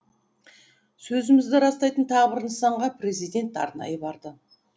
сөзімізді растайтын тағы бір нысанға президент арнайы барды